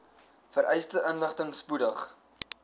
vereiste inligting spoedig